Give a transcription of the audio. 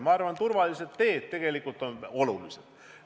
Ma arvan, et turvalised teed on tegelikult olulised.